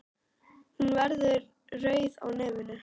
Hún verður rauð á nefinu.